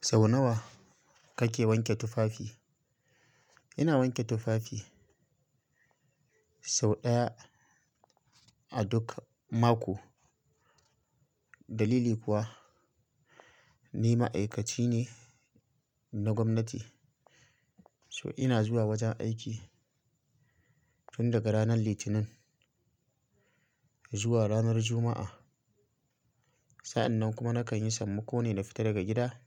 Sau nawa kake wanke tufafi? Ina wanke tufafi sau ɗaya a duk mako. Dalili kuwa ni ma'aikaci ne na gwamnati so ina zuwa wajen aiki tun daga ranar Litinin zuwa ranar Juma'a. Sa'annan kuma nakan yi sammako ne na fita daga gida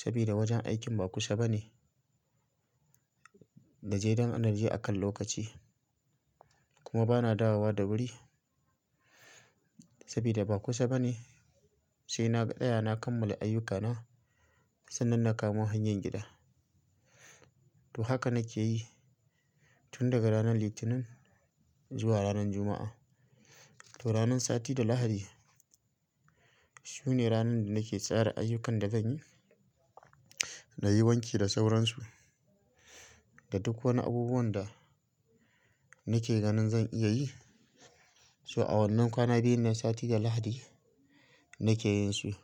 sabida wajen aikin ba kusa bane da jaidan anarji akan lokaci. Kuma bana dawowa da wuri sabida ba kusa bane sai na tsaya na kammala ayyukana sannan na kama hanyar gida. To haka nake yi tun daga ranar Litinin zuwa ranar Juma'a. To ranar sati da Lahadi su ne ranar da nake tsara ayyukan da zan yi na yi wanki da sauransu da duk wani abubuwan da nake ganin zan iya yi. So a wannan kwana biyun na sati da Lahadi nake yin su,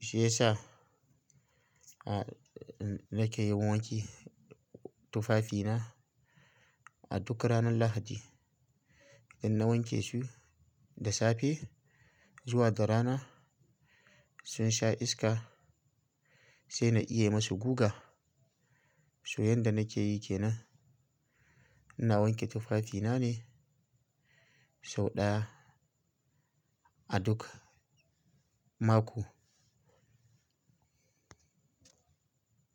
shi yasa nake yin wanki tufafina a duka ranar Lahadi. Idan na wanke su da safe zuwa da rana sun sha iska sai na iya masu guga. So yanda nake yi ke nan ina wanke tufafina ne sau ɗaya a duk mako.